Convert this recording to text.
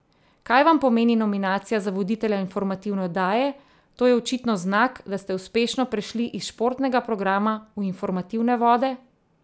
Kaj vam pomeni nominacija za voditelja informativne oddaje, to je očitno znak, da ste uspešno prešli iz športnega programa v informativne vode?